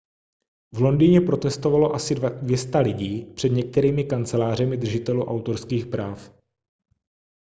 v londýně protestovalo asi 200 lidí před některými kancelářemi držitelů autorských práv